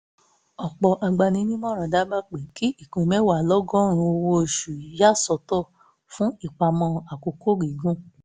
ọ̀pọ̀ agbaninímọ̀ràn dábàá pé kí ìpín mẹ́wàá lọ́gọ́rùn-ún owó oṣù ya sọ́tọ̀ fún ìpamọ́ àkókò gígùn